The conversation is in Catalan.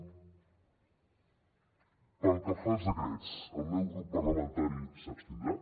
pel que fa als decrets el meu grup parlamentari s’abstindrà